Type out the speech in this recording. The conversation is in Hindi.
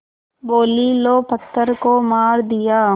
बोलीं लो पत्थर को मार दिया